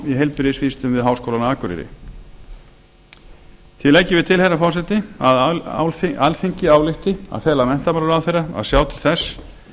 heilbrigðisvísindum við háskólann á akureyri því leggjum við til herra forseti að alþingi álykti að fela menntamálaráðherra að sjá til þess